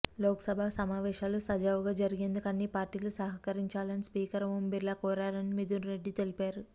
లోక్సభ సమావేశాలు సజావుగా జరిగేందుకు అన్ని పార్టీలు సహకరించాలని స్పీకర్ ఓం బిర్లా కోరారని మిథున్ రెడ్డి తెలిపారు